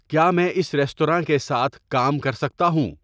کیا میں اس ریستوراں کے ساتھ کام کر سکتا ہوں